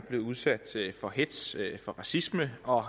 bliver udsat for hetz for racisme og